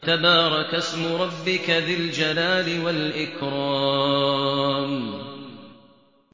تَبَارَكَ اسْمُ رَبِّكَ ذِي الْجَلَالِ وَالْإِكْرَامِ